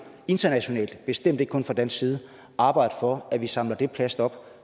internationalt bestemt ikke kun fra dansk side arbejde for at man samler det plast op